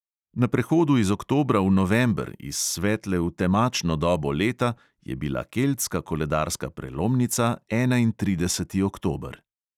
Na prehodu iz oktobra v november, iz svetle v temačno dobo leta, je bila keltska koledarska prelomnica enaintrideseti oktober.